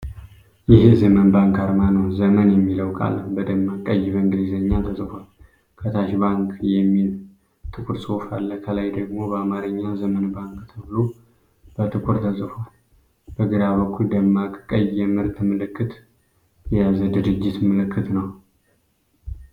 ይህ የዘመን ባንክ አርማ ነው። “ዘመን” የሚለው ቃል በደማቅ ቀይ በእንግሊዘኛ ተጽፏል። ከታች “ባንክ” የሚል ጥቁር ጽሑፍ አለ፤ ከላይ ደግሞ በአማርኛ “ዘመን ባንክ” ተብሎ በጥቁር ተጽፏል። በግራ በኩል ደማቅ ቀይ የምርት ምልክት የያዘ የድርጅት ምልክት ነው።